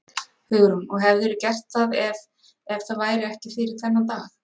Hugrún: Og hefðirðu gert það ef, ef það væri ekki fyrir þennan dag?